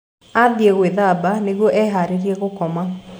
Aathiĩ gwĩthamba nĩguo eharĩrie gũkoma.